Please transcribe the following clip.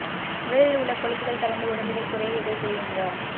உடலில் உள்ள கொழுப்புகள் கரைந்து உடல் எடை குறைய இதை குடியுங்க